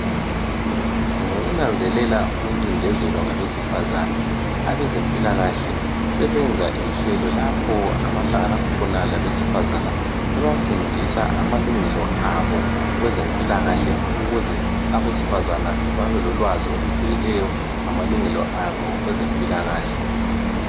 Ngokunanzelela ukuncindezelwa kwabesifazane. Abezempilakahle sebenza inhlelo lapho abahlangana khona labesifazana bebafundisa amalungelo abo kwezempilakahle ukuze abesifazana babe lolwazi olujulileyo ngamalungelo abo kwezempilakahle.